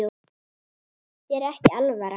Þér er ekki alvara